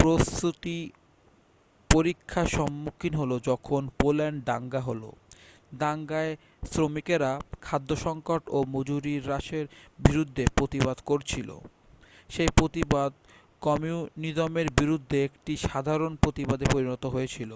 প্রতিশ্রুতি পরীক্ষার সম্মুখীন হল যখন পোল্যান্ডে দাঙ্গা হল দাঙ্গায় শ্রমিকেরা খাদ্য সংকট ও মজুরি হ্রাসের বিরুদ্ধে প্রতিবাদ করছিল সেই প্রতিবাদ কমিউনিজমের বিরুদ্ধে একটি সাধারণ প্রতিবাদে পরিণত হয়েছিল